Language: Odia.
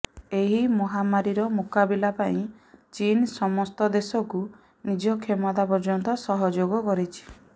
ଏହି ମହାମାରୀର ମୁକାବିଲା ପାଇଁ ଚୀନ୍ ସମସ୍ତ ଦେଶକୁ ନିଜ କ୍ଷମତା ପର୍ଯ୍ୟନ୍ତ ସହଯୋଗ କରିଛି